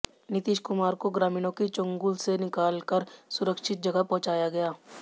नीतीश कुमार को ग्रामीणों की चंगुल से निकाल कर सुरक्षित जगह पहुंचाया गया